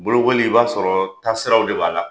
Bolokoli i b'a sɔrɔ taasiraw de b'a la